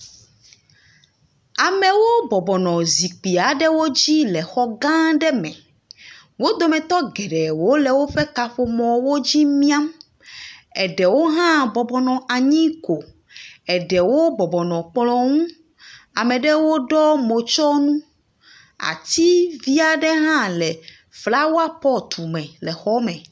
Amewo bɔbɔnɔ zi dzi le xɔ gã aɖe me. Wo dometɔ geɖewo le woƒe kaƒomɔwo dzi miam. Eɖewo hã bɔbɔnɔ anyi ko. Eɖewo bɔbɔnɔ kplɔ ŋu. ame aɖewo ɖɔe motsɔnu. Ativi aɖe hã le flowɔ pɔt me le xɔa me.